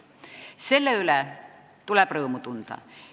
Selle üle on põhjust rõõmu tunda.